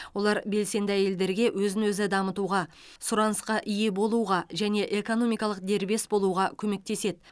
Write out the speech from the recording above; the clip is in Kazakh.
олар белсенді әйелдерге өзін өзі дамытуға сұранысқа ие болуға және экономикалық дербес болуға көмектеседі